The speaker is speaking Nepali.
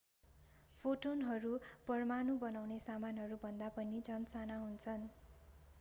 फोटोनहरू परमाणु बनाउने सामानहरू भन्दा पनि झन साना हुन्छन्